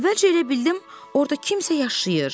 Əvvəlcə elə bildim orda kimsə yaşayır.